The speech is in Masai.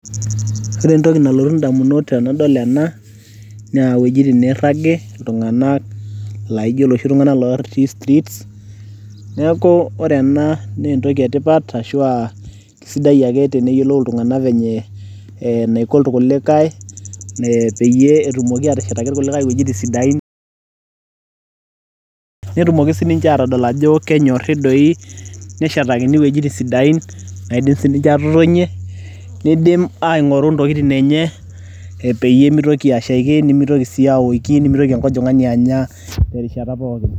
ore entoki nalotu damunot tenidol ena naa wuejitin nairag, nairag iltunganak, laijo iloshi tunganak otii streets neeku ore ena naa entoki etipat, ashu kisidai ake teneyiolou iltunganak venye naiko ilkulikae peyie etumoki aateshetaki ilkulikae isidain, netumoki sii ninche aatodol ajo kenyori doi, neshetakini iwuejitin sidai, naidim sii ninche aatotonie, neidim aing'oru intokitin enye peyie meitoki ashaiki, nemeitoki sii awoiki, nemeitoki enkojing'ani anya tenkata pookin.